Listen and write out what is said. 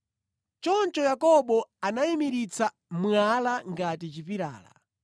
Choncho Yakobo anayimiritsa mwala ngati chipilala.